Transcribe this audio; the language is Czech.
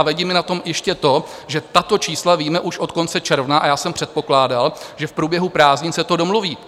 A vadí mi na tom ještě to, že tato čísla víme už od konce června a já jsem předpokládal, že v průběhu prázdnin se to domluví.